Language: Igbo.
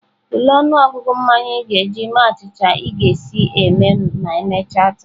Tulee ọnụọgụ mmanya ị ga-eji mee achịcha ị ga-esi eme ma emechaa taa.